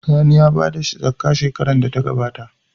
Sani ya bada zakkah shekarar da ta gabata